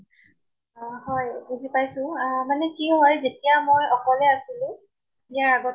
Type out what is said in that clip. অ হয়, বুজি পাইছো আহ মানে কি হয় যেতিয়া মই অকলে আছিলো ইয়াৰ আ